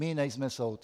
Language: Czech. My nejsme soud.